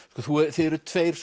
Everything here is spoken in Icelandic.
þið eruð tveir